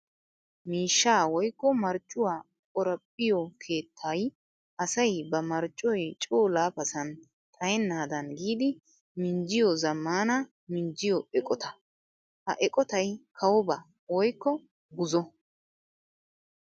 Miishsha woykko marccuwa qoraphphiyo keettay asay ba marccoy coo laafasan xayenaddan giiddi minjjiyo zamaana minjjiyo eqqotta. Ha eqqottay kawobba woykko buzo.